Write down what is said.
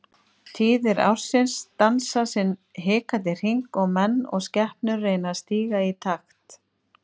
Tíðir ársins dansa sinn hikandi hring og menn og skepnur reyna að stíga í takt.